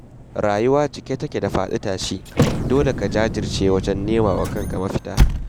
Rayuwa cike take da faɗi-tashi, dole ka jajirce wajen nema wa kanka mafita.